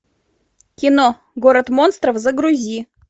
кино город монстров загрузи